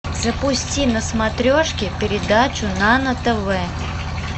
запусти на смотрешке передачу нано тв